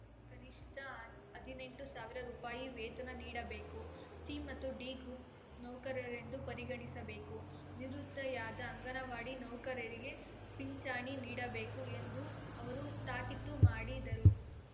ಕನಿಷ್ಠ ಹ ಹದಿನೆಂಟು ಸಾವಿರ ರುಪಾಯಿ ವೇತನ ನೀಡಬೇಕು ಸಿ ಮತ್ತು ಡಿ ಗ್ರೂಪ್‌ ನೌಕರರೆಂದು ಪರಿಗಣಿಸಬೇಕು ನಿವೃತ್ತಿಯಾದ ಅಂಗನವಾಡಿ ನೌಕರರಿಗೆ ಪಿಂಚಣಿ ನೀಡಬೇಕು ಎಂದು ಅವರು ತಾಕೀತು ಮಾಡಿದರು